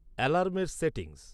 অ্যালার্মের সেটিংস